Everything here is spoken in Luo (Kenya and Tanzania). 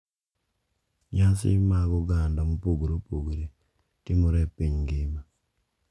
Nyasi mag oganda mopogore opogore timore e piny ngima.